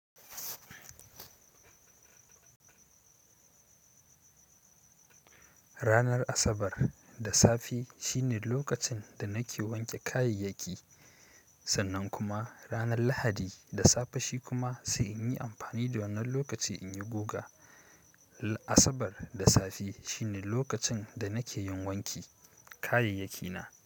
Ranar Asabar da safe shine lokacin da nake wanke kayayyaki. Sannan kuma ranar Lahadi da safe shi kuma sai in yi amfani da wannan lokaci in yi guga. Asabar da safe shine lokacin da nake yin wanki kayayyakina.